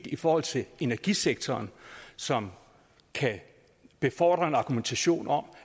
i forhold til energisektoren som kan befordre en argumentation om